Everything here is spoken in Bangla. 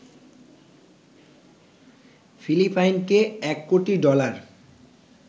ফিলিপাইনকে ১ কোটি ডলার